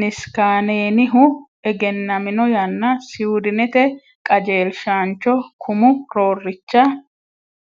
Niskaanenihunni egennami yanna Siwidinete qajeelshaancho kumu roorricha.